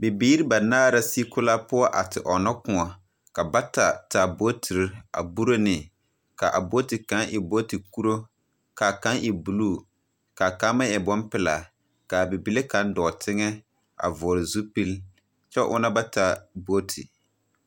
Bibiir ba naar la sigi kola poɔ a te ɔnna kõɔ. Ka bata taa bootirr a buro ne. Ka a booti kaŋ e booti kuro, kaa kaŋ e buluu, kaa kaŋ meŋ e bompelaa. Kaa bibile kaŋ dɔɔ teŋɛ a vɔgl zupil kyɛ ona ba taa booti.